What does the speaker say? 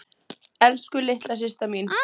Elsku litla systa mín.